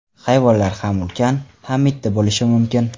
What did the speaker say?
Hayvonlar ham ulkan, ham mitti bo‘lishi mumkin.